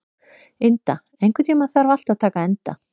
Inda, einhvern tímann þarf allt að taka enda.